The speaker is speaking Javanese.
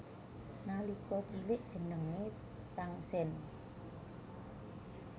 Nalika cilik jenengé Tangsen